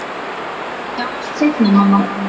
Við sjáumst seinna, mamma.